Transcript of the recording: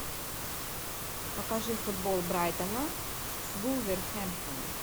покажи футбол брайтона с вулверхэмптоном